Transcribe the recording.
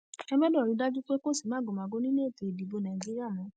ẹ gbọdọ rí i dájú pé kò sí màgòmágó nínú ètò ìdìbò nàìjíríà mọ